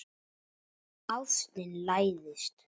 Ástin læðist.